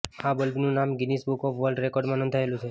આ બલ્બનું નામ ગિનીસ બુક ઓફ વર્લ્ડ રેકોર્ડમાં નોંધાયેલું છે